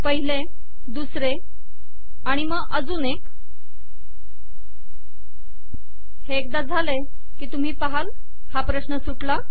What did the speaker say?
पहिले दुसरे आणि मग अजून एक हे एकदा झाले आणि तुम्ही पहाल की हा प्रश्न सुटला